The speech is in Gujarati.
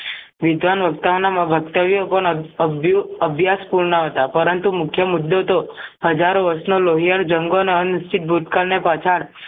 વિધવાન મધતવ્યો પણ અભ્યુ અભ્યાસ કુળના હતા પરંતુ મુખ્ય મુદ્દો તો હજારો વર્ષનો લોહિયાળ જંગોનાં આંશિક ભૂતકાળને પાછળ